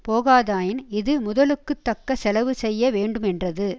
போகாதாயின் இது முதலுக்கு தக்க செலவு செய்ய வேண்டுமென்றது